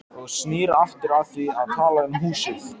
Og snýr aftur að því að tala um húsið.